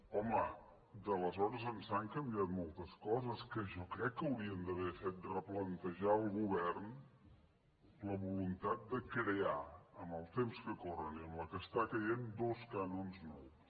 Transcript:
home d’aleshores ençà han canviat moltes coses que jo crec que haurien d’haver fet replantejar al govern la voluntat de crear en els temps que corren i amb la que està caient dos cànons nous